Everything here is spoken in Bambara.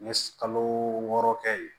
N ye kalo wɔɔrɔ kɛ yen